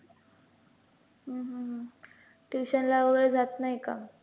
हम्म tuition वैगरे जात नाही का?